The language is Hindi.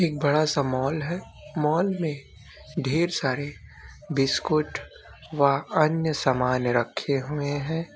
एक बड़ा सा मॉल है मॉल में ढेर सरे बिस्कुट व अन्य समन रखे हुए है।